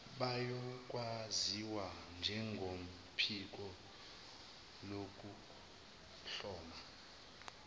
bayokwaziwa njengophiko lokuhlolwa